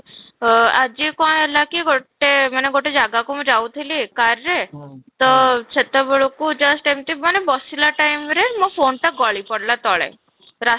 ଆଃ ଆଜି କଣ ହେଲା କି ଗୋଟେ ମାନେ ଗୋଟେ ଜାଗାକୁ ମୁଁ ଯାଉଥିଲି car ରେ ତ ସେତେବେଳ କୁ just ଏମିତି ମାନେ ବସିଲା time ରେ ମୋ phone ଟା ଗଳି ପଡିଲା ତଳେ ରାସ୍ତା